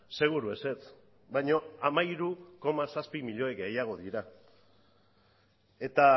seguru ezetz baina hamairu koma zazpi milioi gehiago dira eta